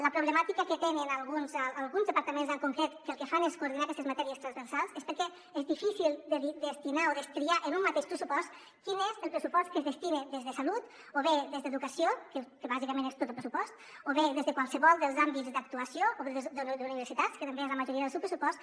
la problemàtica que tenen alguns departaments en concret que el que fan és coordinar aquestes matèries transversals és que és difícil destinar o destriar en un mateix pressupost quin és el pressupost que s’hi destina des de salut o bé des d’educació que bàsicament és tot el pressupost o bé des de qualsevol dels àmbits d’actuació o bé des d’universitats que també és la majoria del seu pressupost